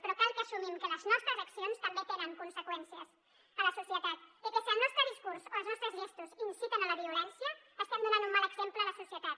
però cal que assumim que les nostres accions també tenen conseqüències a la societat i que si el nostre discurs o els nostres gestos inciten a la violència estem donant un mal exemple a la societat